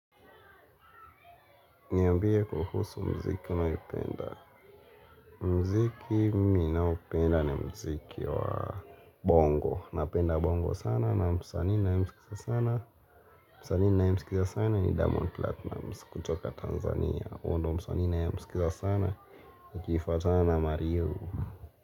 Niambie kuhusu mziki unaopenda mziki mi naoupenda ni mziki wa bongo. Napenda bongo sana na msanii nayemsikiza sana msanii nayemsikiza sana ni Duiamond platnumz kutoka Tanzania. Huo ndio msanii nayemsikiza sana Ikifuatana na mario.